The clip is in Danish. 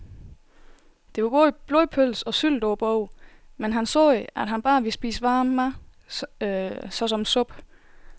Der var både blodpølse og sylte på bordet, men han sagde, at han bare ville spise varm mad såsom suppe.